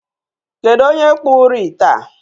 Kedụ onye kpụrụ ite a?